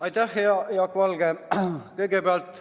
Aitäh, hea Jaak Valge!